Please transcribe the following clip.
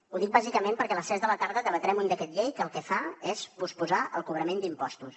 ho dic bàsicament perquè a les tres de la tarda debatrem un decret llei que el que fa és posposar el cobrament d’impostos